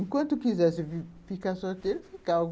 Enquanto quisesse ficar sorteiro, ficava.